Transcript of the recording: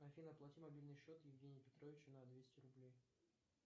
афина оплати мобильный счет евгению петровичу на двести рублей